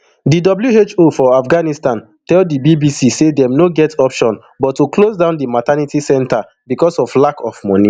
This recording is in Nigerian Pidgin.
di who for afghanistan tell di bbc say dem no get option but to close down di maternity centre becos of lack of money